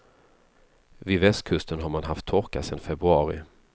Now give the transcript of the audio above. Vid västkusten har man haft torka sedan februari.